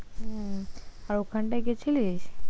হম আর ওখানটায় গেছিলিস